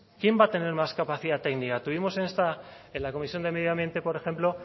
quién va a tener más capacidad técnica tuvimos en la comisión de medio ambiente por ejemplo